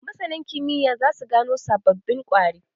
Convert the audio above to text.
Masanan kimiyya za su gano sababbin ƙwari.